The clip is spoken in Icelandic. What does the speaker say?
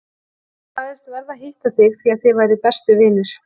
Hann sagðist verða að hitta þig því að þið væruð bestu vinir.